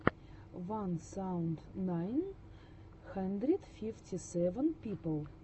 ван саузенд найн хандрэд фифти сэвэн пипл